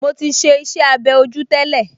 Mo ti ṣe iṣẹ́-abẹ́ ojú tẹ́lẹ̀